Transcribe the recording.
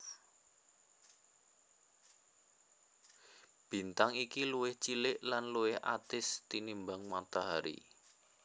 Bintang iki luwih cilik lan luwih atis tinimbang Matahari